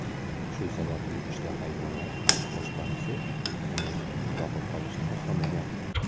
Shu sababli uchta hayvonlar boshpanasi uni boqib olishni xohlamagan.